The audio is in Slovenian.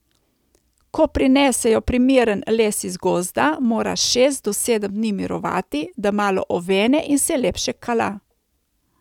Ko prinesejo primeren les iz gozda mora šest do sedem dni mirovati, da malo ovene in se lepše kala.